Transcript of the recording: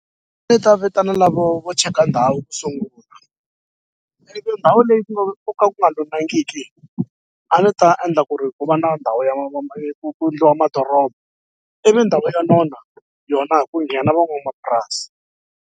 Ni ta vitana lavo vo cheka ndhawu ku sungula ndhawu leyi ku nga ko ka ku nga a ni ta endla ku ri ku va na ndhawu ya ku ku ndliwa madoroba ivi ndhawu yo nona yona ku nghena von'wamapurasi.